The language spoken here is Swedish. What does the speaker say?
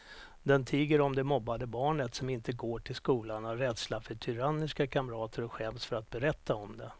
Den tiger om det mobbade barnet som inte går till skolan av rädsla för tyranniska kamrater och skäms för att berätta om det.